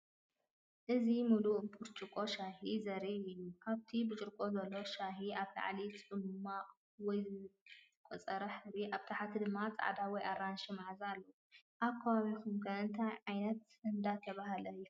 እዚ ምሉእ ብርጭቆ ሻሂ ዘርኢ እዩ። ኣብቲ ብርጭቆ ዘሎ ሻሂ ኣብ ላዕሊ ጽማቝ ወይ ዝነቐጸ ሕብሪ፡ ኣብ ታሕቲ ድማ ጻዕዳ ወይ ኣራንሺ መኣዛ ኣለዎ። ኣብ ከባቢኩም ከ እንታይ እንዳተባሃለ ይፍለጥ?